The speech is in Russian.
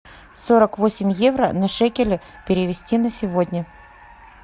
сорок восемь евро на шекели перевести на сегодня